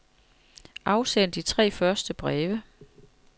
Afsend de tre første breve.